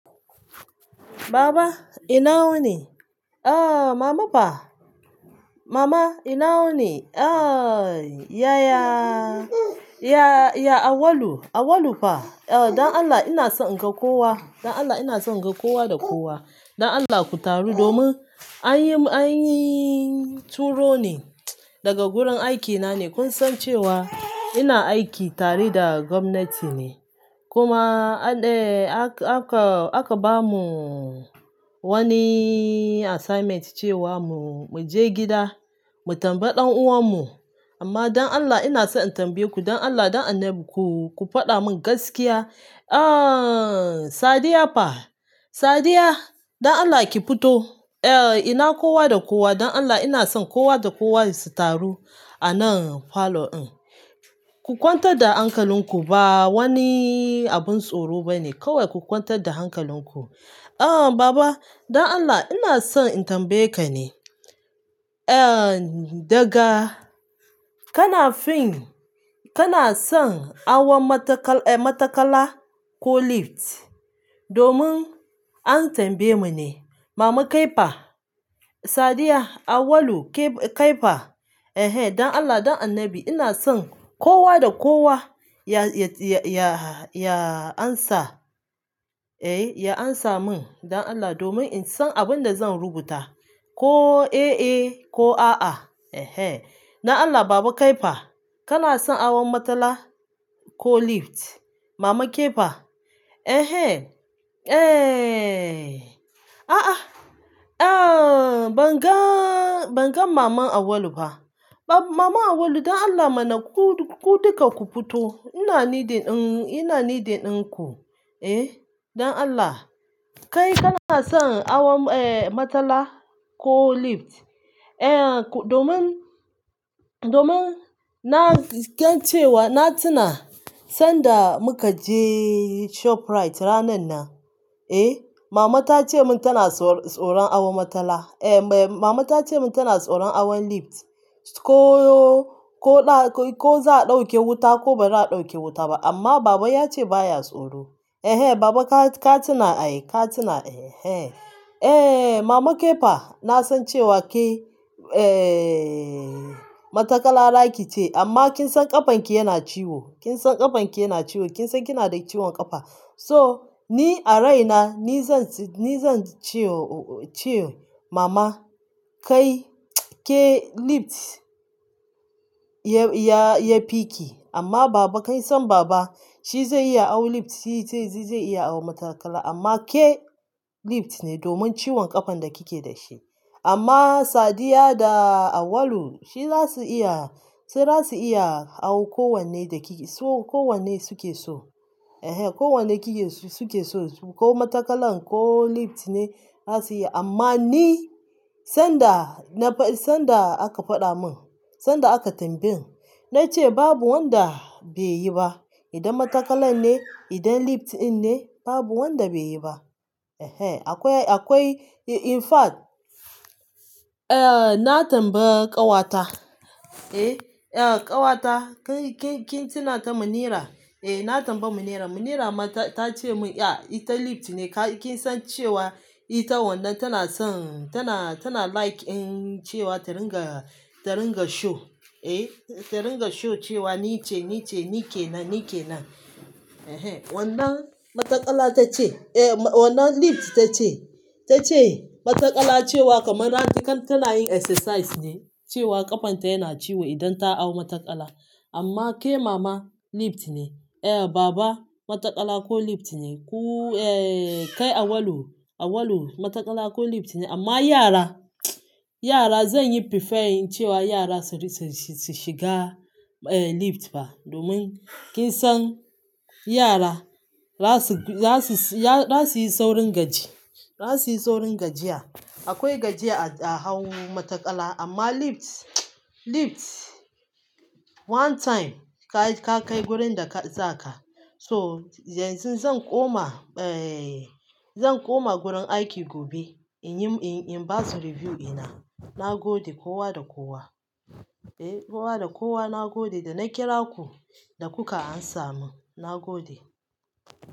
Baba ina wuni? Eh Mama fa, Mama ina wuni? Eh Yaya, ya, ya Awalu, Awalu fa, eh dan Allah ina son in ga kowa, dan Allah ina son in ga kowa da kowa. Dan Allah ku taru domin anyi, anyi turo ne daga gurin aikina ne. Kun san cewa ina aiki tare da gwamnati ne. Kuma a de aka, aka, aka bamu wani assignment cewa mu, mu je gida mu tambayi ɗan uwan mu. Amma dan Allah ina son in tambaye ku, dan Allah, dan annabi ku, ku faɗa min gaskiya. Ah Sadiya fa, Sadiya dan Allah ki fito. Eh ina kowa da kowa, dan Allah ina son kowa da kowa su taru a nan parlour din. Ku kwantar da hankalinku ba wani abin tsoro ba ne. Kawai ku kwantar da hankalinku. Eh Baba dan Allah ina son in tambaye ka ne. Eh daga ka na fin, ka na son awon mataka-- eh matakala ko lift domin an tambaye mu ne. Mama kai fa, Sadiya, Awalu, kai fa, eh dan Allah, dan annabi ina son kowa da kowa ya, ya, ya, ya ansa, eh ya ansa min dan Allah domin in san abin da zan rubuta ko eh eh ko a a. Ehe dan Allah Baba kai fa, ka na son awon matala ko lift? Mama ke fa, eh eh, eh, a a, eh ban gan, ban gan Maman Awalu ba. Ba-- Maman Awalu dan Allah mana ku, ku duka ku fito. Ina needing dinku eh dan Allah kai bakason matsala ko need eh menene domin na, kan cewa na tuna sanda muka je ShopRite ranan nan, eh Mama ta ce min tana tsoron awon matala, eh Mama ta ce min tana tsoron hawon lift. Ko za'a dauke wuta ko baza'a daukeba amma Baba ya ce ba ya tsoro. Ehe Baba ka, ka tuna, ay ka tuna eh eh. Eh Mama ke fa na san cewa ke eh matakala za ki ce amma kin san ƙafan ki yana ciwo, kin san ƙafan ki yana ciwo, kin san kina da ciwon ƙafa. So ni a raina ni zan, ni zan ce, ce Mama kai, ke lift ya, ya, ya fi ki. Amma Baba kai san Baba shi zai iya hawon lift, shi zai, zai iya hawon matakala amma ke lift ne domin ciwon ƙafan da kike da shi. Amma Sadiya da Awalu shi za su iya, su za su iya hawon kowanne da ke so, kowanne suke so. Ehe kowanne suke so su, ko matakalan ko lift ne za su yi. Amma ni sanda na fa-- sanda aka faɗa min, sanda aka tambaye ni, na ce babu wanda beyi ba. Idan matakalan ne, idan lift din ne, babu wanda beyi ba. Ehe akwai, akwai in fact, eh na tambayi ƙawata, eh, eh ƙawata kai, kai kin tuna ta Munira? Eh na tambayi Munira. Munira ma ta, ta ce mun, ya ita lift ne. Kai kin san cewa ita wannan tana son, tana, tana like cewa ta riga, ta riga show, eh ta riga show cewa ni ce, ni ce, ni ke nan, ni ke nan. Ehe wannan matakala ta ce, eh wannan lift ta ce. Ta ce matakala cewa kamar an yi, kan tana yin exercise ne cewa ƙafan ta yana ciwo idan ta hau matakala. Amma ke Mama lift ne, eh Baba matakala ko lift ne. Ku eh kai Awalu, Awalu matakala ko lift ne amma yara, yara zanyi prefairing cewa yara su shiga lift ba domin kinsan yara zasuyi saurin gajiya. Akwai gajiya a, a hau matakala amma lift, lift one time ka kai wurin da ka, za ka. So yanzu zan koma, eh zan koma gurin aiki gobe in yi, in ba su review ina. Na gode kowa da kowa. Eh kowa da kowa na gode da na kira ku da kuka amsa mu, na gode.